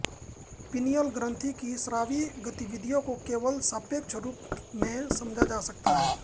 pineal ग्रंथि की स्रावी गतिविधि को केवल सापेक्ष रूप में समझा जा सकता है